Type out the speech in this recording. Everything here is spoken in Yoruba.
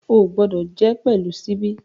O gbọdọ jẹ pẹlu ṣíbí!